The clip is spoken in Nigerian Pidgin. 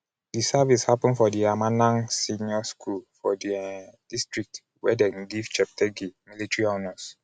di service happun for di amanang senior school for di um district where dem give cheptegei military honours.